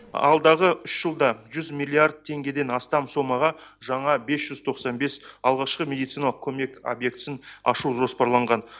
алдағы үш жылда жүз миллиард теңгеден астам сомаға жаңа бес жүз тоқсан бес алғашқы медициналық көмек объектісін ашу жоспарланған